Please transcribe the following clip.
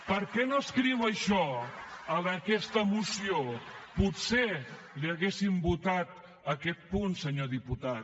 per què no escriu això en aquesta moció potser li hauríem votat aquest punt senyor diputat